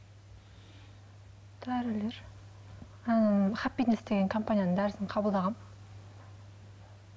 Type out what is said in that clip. дәрілер компанияның дәрісін қабылдағанмын